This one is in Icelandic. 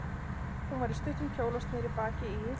Hún var í stuttum kjól og sneri baki í